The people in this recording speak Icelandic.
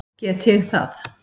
Get ég það?